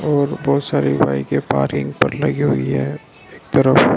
और बहोत सारी बाईकें पार्किंग पर लगी हुई है एक तरफ --